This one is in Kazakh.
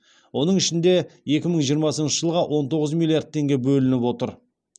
оның ішінде екі мың жиырмасыншы жылға он тоғыз миллиард теңге бөлініп отыр